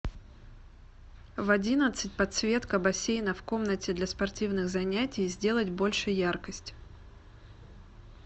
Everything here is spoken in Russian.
в одиннадцать подсветка бассейна в комнате для спортивных занятий сделать больше яркость